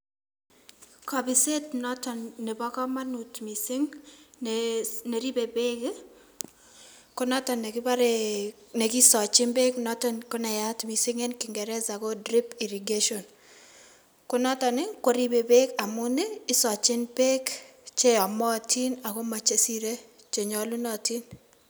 Kobiset noton nebo komonut mising neribe beek konoton nekibore nekisochin beek noton konayat mising en king'ereza ko drip irrigation, konoton i koribe beek amuun isochin beek cheyomotin akochemosire chenyolunotin.